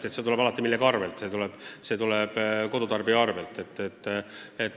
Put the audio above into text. Aga see tuleb paraku millegi arvelt, see tuleb kodutarbija arvelt.